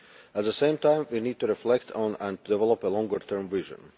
At the same time we need to reflect on, and develop, a longer term vision.